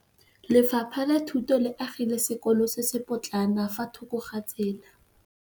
Lefapha la Thuto le agile sekôlô se se pôtlana fa thoko ga tsela.